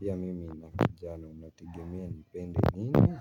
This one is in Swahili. pia mimi nina kijana inategemea nipende nini?